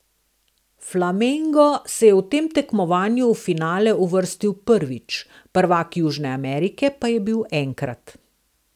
Flamengo se je v tem tekmovanju v finale uvrstil prvič, prvak Južne Amerike pa je bil enkrat.